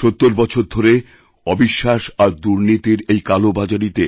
৭০ সাল থেকে অবিশ্বাস আরদুর্নীতির এই কালোবাজারিতে